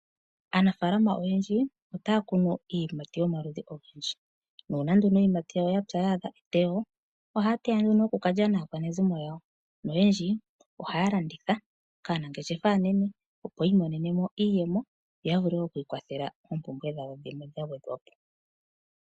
Aanafalama oyendji otaya kunu iiyimati yomaludhi ogendji nuuna nduno iiyimati yawo yapya yaadha eteyo ohaya teya nduno noku kalya naakwanezimo yawo. Oyendji ohaya landitha kaanangeshefa aanene, opo yi imonene mo iiyemo yavule oku ikwathela oompumbwe dhawo dhimwe dhagwedhwa po.